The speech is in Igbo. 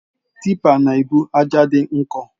Tipper na-ebu ájá dị nkọ.